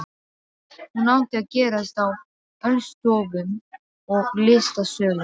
Hún átti að gerast á ölstofum og í listasölum.